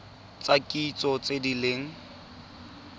tsa kitso tse di leng